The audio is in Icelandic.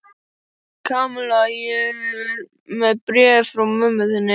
Kamilla, ég er með bréfið frá mömmu þinni.